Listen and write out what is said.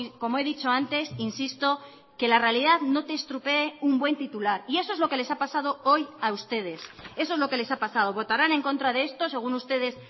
como he dicho antes insisto que la realidad no te estropee un buen titular y eso es lo que les ha pasado hoy a ustedes eso es lo que les ha pasado votarán en contra de esto según ustedes